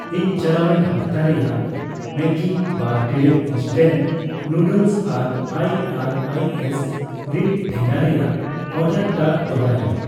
ᱤᱧᱟᱜ ᱪᱟᱞᱟᱣᱮᱱ ᱦᱟᱯᱛᱟ ᱨᱮᱭᱟᱜ ᱢᱮᱜᱜᱤ ᱵᱟᱨ ᱴᱤᱲᱤᱡ ᱤᱱᱥᱴᱮᱞ ᱱᱩᱰᱞᱮᱥ ᱟᱨ ᱟᱭᱟᱨᱟᱭᱮᱥ ᱨᱤᱰ ᱴᱷᱮᱜᱟ ᱨᱮᱭᱟᱜ ᱚᱨᱰᱟᱨᱴᱟᱜ ᱫᱚᱲᱦᱟᱭ ᱢᱮ ᱾